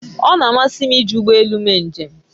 O na-amasị m iji ụgbọ elù eme njem